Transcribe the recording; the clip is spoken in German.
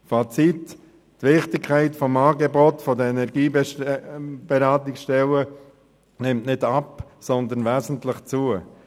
Fazit: Die Wichtigkeit des Angebots der Energieberatungsstellen nimmt nicht ab, sondern wesentlich zu.